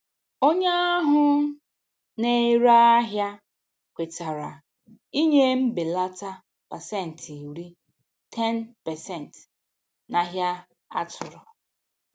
Onye ahụ na-ere ahịa kwetara ịnye mbelata pasentị iri (10%) n'ahia atụ̀rụ̀.